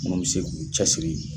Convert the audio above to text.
Munnu be se k'u cɛsiri ye